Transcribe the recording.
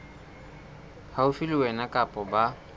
haufi le wena kapa ba